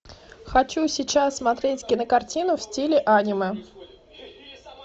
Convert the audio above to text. хочу сейчас смотреть кинокартину в стиле аниме